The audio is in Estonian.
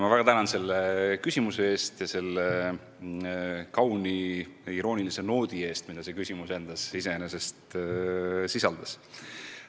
Ma väga tänan selle küsimuse eest ja selle kauni iroonilise noodi eest, mida see küsimus endas sisaldas!